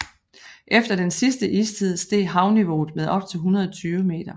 Efter den sidste istid steg havniveauet med op til 120 meter